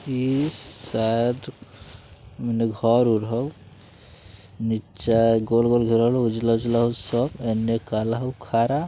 इ शायद मने घर-उर हो नीचे गोल-गोल घेरल हो उजला-उजला स एन्ने काला हो खड़ा |